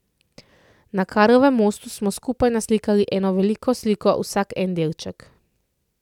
Na Karlovem mostu smo skupaj naslikali eno veliko sliko, vsak en delček.